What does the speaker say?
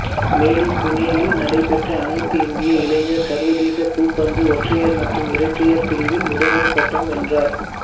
மேலும் புனேயில் நடைபெற்ற அனைத்து இந்திய இளையர் சர்வதேச பூப்பந்து ஒற்றையர் மற்றும் இரட்டையர் பிரிவில் முதன்மைப் பட்டம் வென்றார்